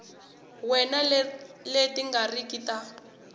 wana leti nga riki ta